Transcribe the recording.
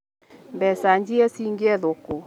Mbeca njie cingĩethwo kũ?